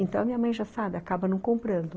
Então, minha mãe, já sabe, acaba não comprando.